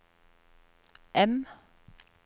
M